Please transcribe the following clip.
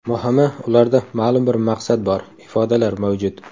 Muhimi, ularda ma’lum bir maqsad bor, ifodalar mavjud.